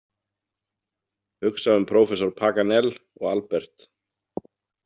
Hugsa um prófessor Paganel og Albert.